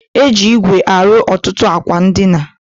E ji igwe arụ ọtụtụ akwa ndịna